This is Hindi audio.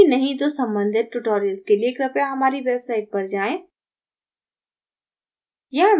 यदि नहीं तो सम्बंधित tutorials के लिए कृपया हमारी website पर जाएँ